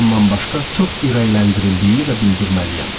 Bundan başqa çox ürəkləndirildiyimi də bildirməliyəm.